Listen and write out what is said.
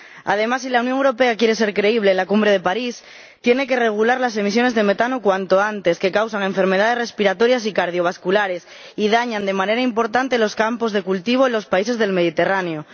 Además, si la Unión Europea quiere ser creíble en la cumbre de París, tiene que regular cuanto antes las emisiones de metano, que causan enfermedades respiratorias y cardiovasculares y dañan de manera importante los campos de cultivo en los países del Mediterráneo.